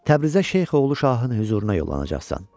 Təbrizə Şeyx oğlu Şahın hüzuruna yollanacaqsan.